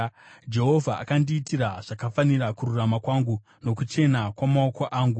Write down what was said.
Jehovha akandiitira zvakafanira kururama kwangu; nokuchena kwamaoko angu.